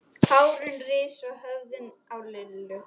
Hárin risu á höfðinu á Lillu.